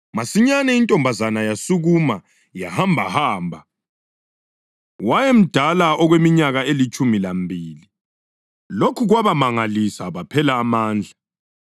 Masinyane intombazana yasukuma yahambahamba (wayemdala okweminyaka elitshumi lambili). Lokhu kwabamangalisa baphela amandla.